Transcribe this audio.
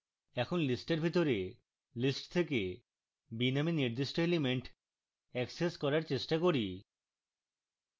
এখন list এর ভিতরে list থেকে b নামে নির্দিষ্ট element অ্যাক্সেস করার চেষ্টা করি